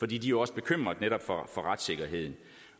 de er jo også bekymrede netop for retssikkerheden